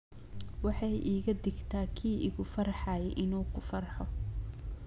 Waxay iga dhigtaa kii igu farxay inuu ku farxo